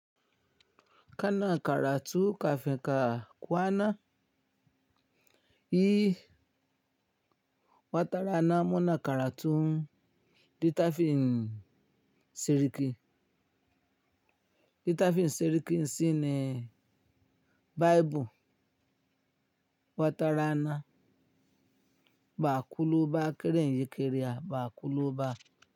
Kana karatu kafin ka kwana, yi watarana muna karatu littafin siriki. Littafin siriki shine Baibul. Watarana ba'a kuloba keren yake re a ba'a kuloba.